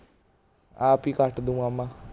ਆਪ ਹੀ ਕੱਟ ਦੂੰਗਾ ਮੈਂ